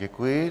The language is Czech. Děkuji.